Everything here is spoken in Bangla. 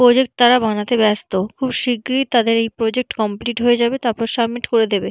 প্রজেক্ট তারা বানাতে ব্যস্ত। খুব শিগগিরি তাদের এই প্রজেক্ট কমপ্লিট হয়ে যাবে তারপর সাবমিট করে দেবে।